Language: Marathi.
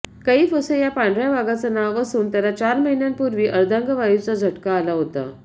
कैफ असं या पांढऱ्या वाघाचं नाव असून त्याला चार महिन्यांपूर्वी अर्धांगवायूचा झटका आला होता